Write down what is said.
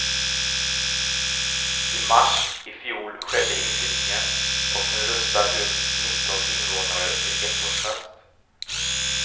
I mars i fjol skedde inflyttningen, och nu rustar husets nitton invånare till ettårsfest.